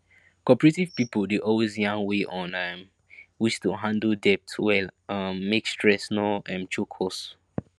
cooperative pipu dey always yarn way on um which to handle debt well um make stress no um choke us